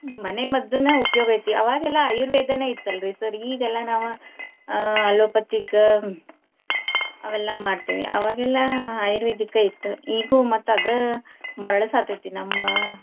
ಮನೆಮದ್ದುನ ಉಪಯೋಗ ಐತಿ. ಅವಾಗೆಲ್ಲಾ ಆಯುರ್ವೇದಾನ ಇತ್ತಲ್ರಿ sir . ಈಗೆಲ್ಲಾ ನಾವ ಆ allopathic ಅವೆಲ್ಲಾ ಮಾಡ್ತೇವಿ ಅವಾಗೆಲ್ಲಾ ಆಯುರ್ವೇದಿಕ ಇತ್ತ್. ಈಗು ಮತ್ತ ಅದ ಮರಳಸಾತೇತಿ ನಮ್ಮ.